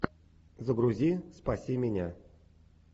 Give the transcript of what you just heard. загрузи спаси меня